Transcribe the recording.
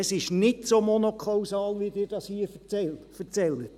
Es ist nicht so monokausal, wie Sie es hier erzählen.